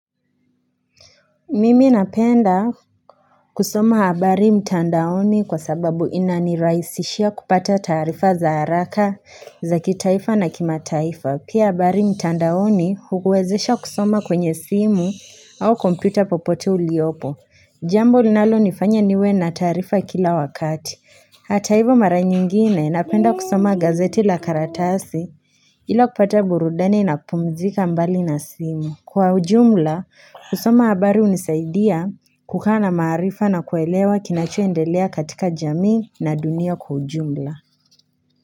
Mimi napenda kusoma habari mtandaoni kwa sababu inanirahisishia kupata taarifa za haraka za kitaifa na kimataifa. Pia habari mtandaoni hukuwezesha kusoma kwenye simu au kompyuta popote uliopo. Jambo linalonifanya niwe na taarifa kila wakati. Hata hivo mara nyingine napenda kusoma gazeti la karatasi hilo kupata burudani napumzika mbali na simu. Kwa ujumla, kusoma habari hunisaidia kukaa na maarifa na kuelewa kinachoendelea katika jamii na dunia kwa ujumla.